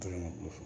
Tɛgɛ ma ku